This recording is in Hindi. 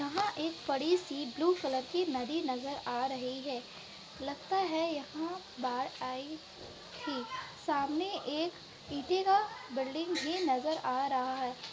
यहाँ एक बड़ी-सी ब्लू कलर की नदी नजर आ रही है। लगता है यहाँ बाढ़ आई थी। सामने एक ईटे का बिल्डिंग भी नजर आ रहा है।